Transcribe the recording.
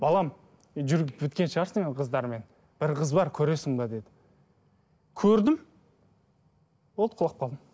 балам жүріп біткен шығарсың енді қыздармен бір қыз бар көресің бе деді көрдім болды құлап қалдым